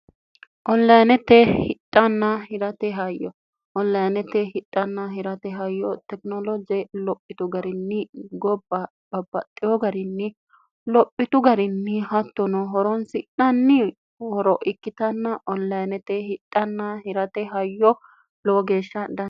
ollaanete hidhanna hirate hayyo ollainete hidhanna hirate hayyo tekinoloje lophitu garinni gobba babbaxxiyo garinni lophitu garinni hattono horonsi'nanni horo ikkitanna ollayinete hidhanna hirate hayyo lowo geeshshan n